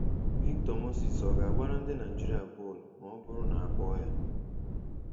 Victor Moses ọ ga-agbara ndị Naịjirịa bọọlụ ma ọ bụrụ na a kpọọ ya?